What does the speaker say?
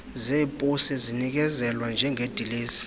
zeposi zinikezelwa njengedilesi